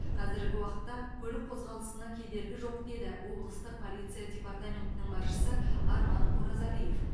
қазіргі уақытта көлік қозғалысына кедергі жоқ деді облыстық полиция департаментінің басшысы арман оразалиев